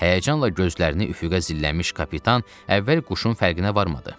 Həyəcanla gözlərini üfüqə zilləmiş kapitan əvvəl quşun fərqinə varmadı.